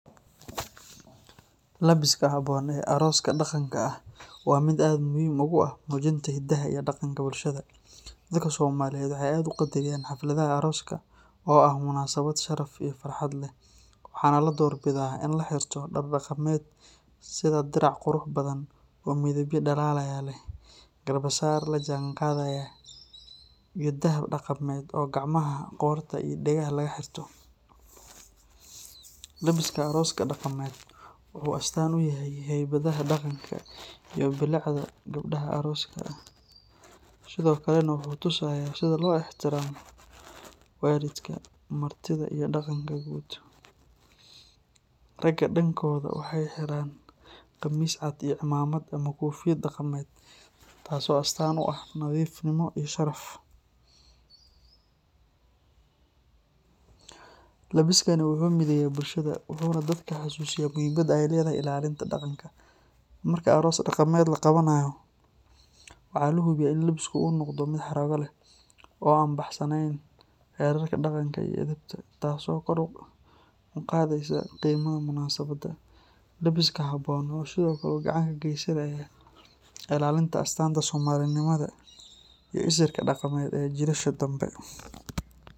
Labiska habboon ee arooska dhaqanka ah waa mid aad muhiim ugu ah muujinta hiddaha iyo dhaqanka bulshada. Dadka Soomaaliyeed waxay aad u qadariyaan xafladaha arooska oo ah munaasabad sharaf iyo farxad leh, waxaana la door bidaa in la xirto dhar dhaqameed sida dirac qurux badan oo midabyo dhalaalaya leh, garbasaar la jaanqaadaya, iyo dahab dhaqameed oo gacmaha, qoorta iyo dhegaha laga xirto. Labiska arooska dhaqameed wuxuu astaan u yahay haybadda, dhaqanka iyo bilicda gabadha arooska ah, sidoo kalena wuxuu tusayaa sida loo ixtiraamo waalidka, martida iyo dhaqanka guud. Ragga dhankooda, waxay xiraan khamiis cad iyo cimaamad ama koofiyad dhaqameed, taasoo astaan u ah nadiifnimo iyo sharaf. Labiskani wuxuu mideeyaa bulshada, wuxuuna dadka xasuusiyaa muhiimadda ay leedahay ilaalinta dhaqanka. Marka aroos dhaqameed la qabanayo, waxaa la hubiyaa in labiska uu noqdo mid xarrago leh, oo aan ka baxsanayn xeerarka dhaqanka iyo edebta, taasoo kor u qaadaysa qiimaha munaasabadda. Labiska habboon wuxuu sidoo kale gacan ka geysanayaa ilaalinta astaanta Soomaalinimada iyo isirka dhaqameed ee jiilasha dambe.